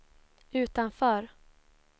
utanför